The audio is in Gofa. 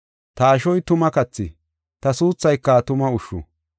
Ta ashoy tuma kathi; ta suuthayka tuma ushshu.